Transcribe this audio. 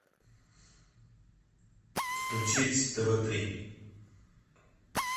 включить тв три